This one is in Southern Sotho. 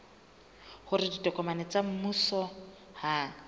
hore ditokomane tsa mmuso ha